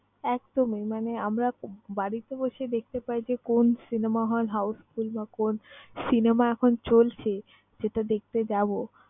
একদমই মানে আমরা বাড়িতে বসেই দেখতে পাই যে, কোন cinema hall houseful বা কোন cinema এখন চলছে যেটা দেখতে যাব।